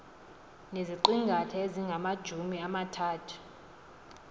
neziqingatha ezingamajumi amathathu